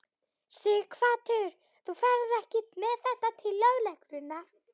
Sighvatur: Þú ferð ekki með þetta til lögreglunnar?